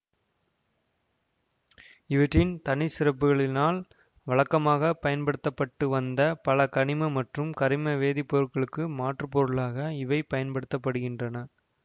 இவற்றின் தனிச்சிறப்புகளினால் வழக்கமாக பயன்படுத்த பட்டு வந்த பல கனிம மற்றும் கரிம வேதி பொருட்களுக்கு மாற்று பொருளாக இவை பயன்படுத்த படுகின்றன